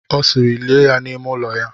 Ọ sịịrị, lie ya n'ime ụlọ ya!